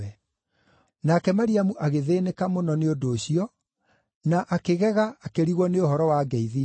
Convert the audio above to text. Nake Mariamu agĩthĩĩnĩka mũno nĩ ũndũ ũcio, na akĩgega akĩrigwo nĩ ũhoro wa ngeithi icio.